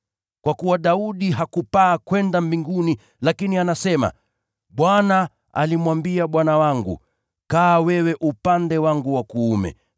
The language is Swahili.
Kwa kuwa Daudi hakupaa kwenda mbinguni, lakini anasema, “‘ Bwana alimwambia Bwana wangu: “Keti mkono wangu wa kuume,